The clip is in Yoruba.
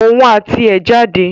Òun àti ẹ̀ jáde